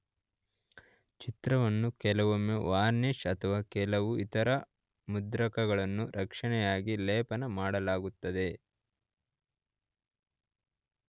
ಚಿತ್ರವನ್ನು ಕೆಲವೊಮ್ಮೆ ವಾರ್ನಿಷ್ ಅಥವಾ ಕೆಲವು ಇತರ ಮುದ್ರಕಗಳನ್ನು ರಕ್ಷಣೆಯಾಗಿ ಲೇಪನ ಮಾಡಲಾಗುತ್ತದೆ.